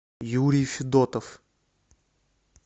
юрий федотов